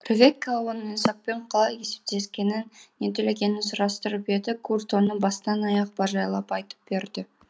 ревекка оның исаакпен қалай есептескенін не төлегенін сұрастырып еді гурт оны бастан аяқ бажайлап айтып берді